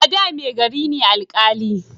A da mai gari ne alƙali